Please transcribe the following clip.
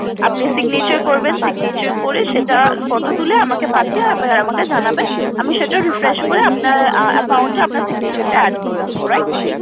আপনি Signature করবেন Signature করার পরে সেটার photo তুলে আমাকে পাঠিয়ে দিয়ে আমাকে জানাবেন আমি সেটার refresh আপনার Account এ আপনার Signature টা add করে দেবো